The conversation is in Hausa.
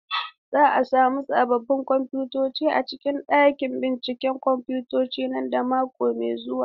Za a sami sabbin kwamfutoci a cikin ɗakin binciken kwamfuta nan da wata mai zuwa.